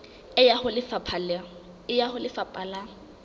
e ya ho lefapha la